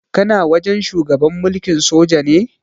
Kana wajen shugaban mulkin soja ne?